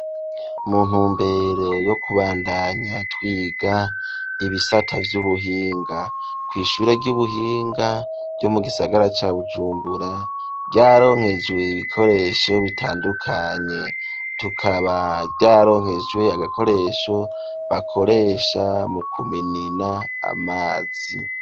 Mu ntumbero yo kubandanya twiga ibisata vyubuhinga kwishure ry'ubuhinga ryo mu gisagara ca Bujumbura ryararonkejwe ibikoresho bitandukanye tukaba vyararonkejwe agakoresho bakoresha mu kuminina amazi.